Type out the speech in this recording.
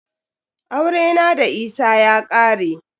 Aurena da Isa ya ƙare.